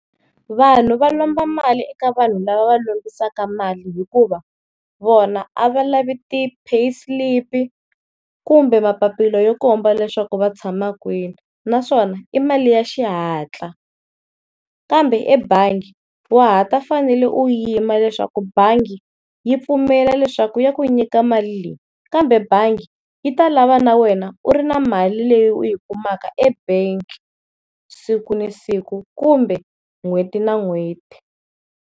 Vanhu va lomba mali eka vanhu lava va lombisaka mali hikuva vona a va lavi ti pay slip-i kumbe mapapila yo komba leswaku va tshama kwini naswona i mali ya xihatla, kambe ebangi wa ha ta fanele u yima leswaku bangi yi pfumela leswaku ya ku nyika mali leyi. Kambe bangi yi ta lava na wena u ri na mali leyi u yi kumaka e-bank siku na siku kumbe n'hweti na n'hweti.